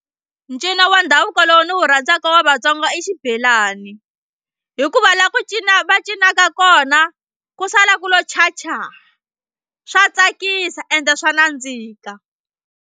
Ncino wa ndhavuko lowu ndzi wu rhandzaka wa Vatsonga i xibelani hikuva la ku cina va cinaka kona ku sala ku lo chacha swa tsakisa ende swa nandzika.